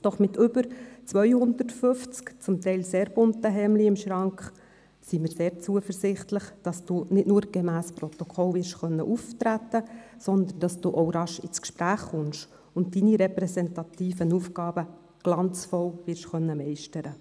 Doch wir sind sehr zuversichtlich, dass Sie mit über 250 zum Teil sehr bunten Hemden im Schrank nicht nur gemäss Protokoll werden auftreten können, sondern dass Sie auch rasch ins Gespräch kommen und Ihre repräsentativen Aufgaben glanzvoll werden meistern können.